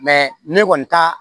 ne kɔni ta